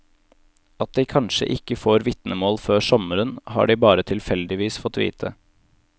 At de kanskje ikke får vitnemål før sommeren, har de bare tilfeldigvis fått vite.